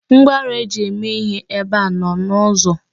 Ngwaọrụ e ji eme ihe ebe a nọ n'ụzọ.